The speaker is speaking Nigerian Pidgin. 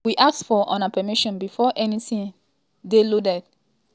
we ask for una permission before anytin dey loaded as dem fit dey use cookies cookies and oda technologies.